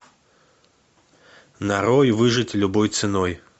нарой выжить любой ценой